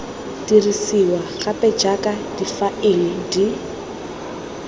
dirisiwa gape jaaka difaele di